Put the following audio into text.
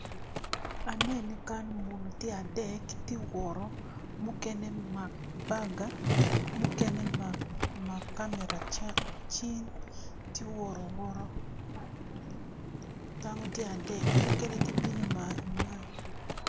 Aneno kan muni tye adek mukene omako baga mukene omako kamera cal tye i gute dako tye adek mukene